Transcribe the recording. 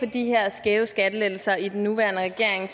de her skæve skattelettelser i den nuværende regering